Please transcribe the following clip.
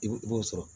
I b'i b'o sɔrɔ